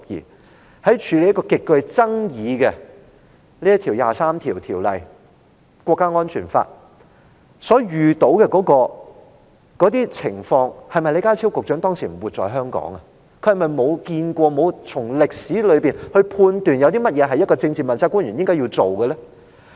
對於她在處理一項極具爭議的"第二十三條"立法所遇到的情況，李家超局長當時是否不活在香港，沒有看過，沒有從歷史中領悟出一位政治問責官員應該要做的事情是甚麼呢？